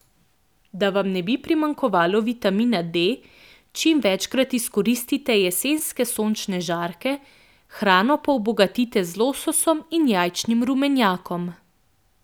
Da vam ne bi primanjkovalo vitamina D, čim večkrat izkoristite jesenske sončne žarke, hrano pa obogatite z lososom in jajčnim rumenjakom.